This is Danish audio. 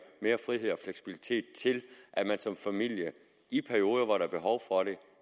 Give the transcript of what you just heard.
mere frihed og fleksibilitet til at man som familie i perioder hvor der er behov for det